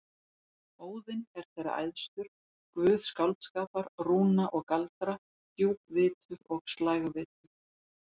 Óðinn er þeirra æðstur, guð skáldskapar, rúna og galdra, djúpvitur og slægvitur.